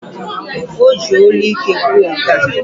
O ji onu ike kwuo nkea.